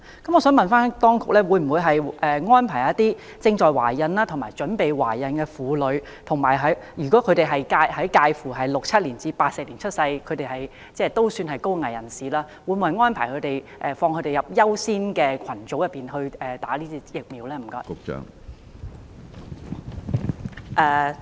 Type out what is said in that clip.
我想問當局，對於那些已懷孕或準備懷孕的婦女，以及介乎1967年至1984年出生的高危人士，當局會否把他們納入優先接種疫苗的群組內？